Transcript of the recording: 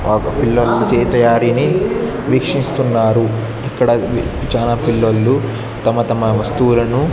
పిల్లలు చే తయారీ ని వీక్షిస్తున్నారు ఇక్కడ చాలా పిల్లల్లు తమ తమ వస్తువులను--